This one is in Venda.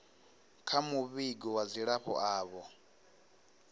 kha muvhigo wa dzilafho avho